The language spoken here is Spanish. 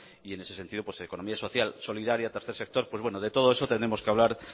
y en ese sentido pues economía social solidaria tercer sector pues bueno de todo eso tendremos que hablar